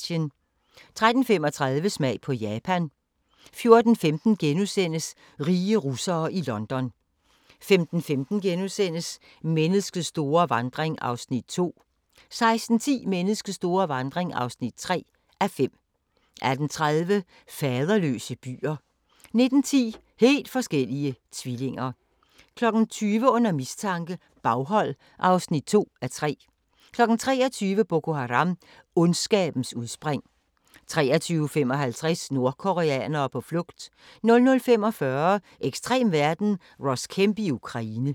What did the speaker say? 13:35: Smag på Japan 14:15: Rige russere i London * 15:15: Menneskets store vandring (2:5)* 16:10: Menneskets store vandring (3:5) 18:30: Faderløse byer 19:10: Helt forskellige tvillinger 20:00: Under mistanke - baghold (2:3) 23:00: Boko Haram – Ondskabens udspring 23:55: Nordkoreanere på flugt 00:45: Ekstrem verden – Ross Kemp i Ukraine